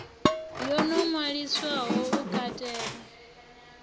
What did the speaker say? yo no ṅwaliswaho u katela